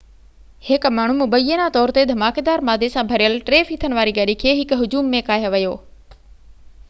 هڪ ماڻهو مبينا طور تي ڌماڪيدار مادي سان ڀريل ٽي ڦيٿن واري گاڏي کي هڪ هجوم ۾ ڪاهي ويو